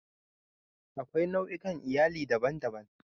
Akwai nau'ikan Iyali daban-daban.